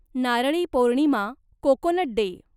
Narali Purnima, coconut day